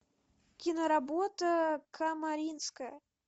киноработа камаринская